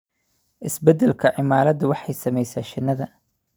Isbeddelka cimiladu waxay saamaysaa shinida.